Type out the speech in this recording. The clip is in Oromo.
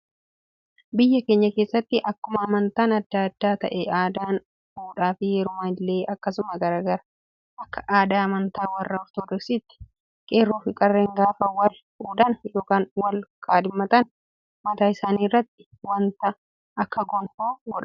Biyya keenya keessatti, akkuma amantaan addaa adda ta'e, aadaan fuudhaa fi heerumaa illee akkasuma garaagara. Akka aadaa amantaa warra Ortodoksiitti qeerroo fi qarreen gaafa wal fuudhan yookaan wal kaadhimatan mataa isaanii irratti waanta akka gonfoo godhatu.